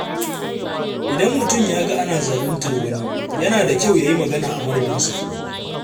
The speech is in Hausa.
Idan mutum ya ga ana zaluntar wani, yana da kyau ya yi magana a madadinsa.